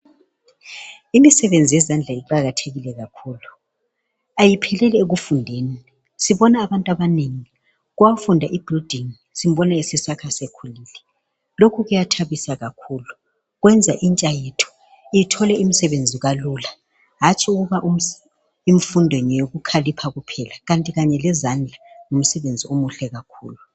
imisebenzi yezandla iqakathekile kakhulu ayipheleli ekufundeni sibona abantu abanengi owafunda i building simbona esesakha esekhulile lokhu kuyathabisa kakhulu kwenza intsha yethu ithole imisebenzi kalula hatshi ukuba imfundo ngeyokukhalipha kuphela kanti kanye lezandla ngumsebenzi omuhle kakhulu